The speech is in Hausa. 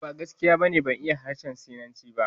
A'a, ba gaskiya ba ne, ban iya harshen Sinanci ba